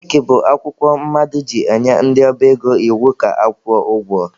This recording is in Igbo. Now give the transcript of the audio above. Cheekị bụ akwụkwọ mmadụ ji enye ndị ọba ego iwu ka akwụọ ụgwọ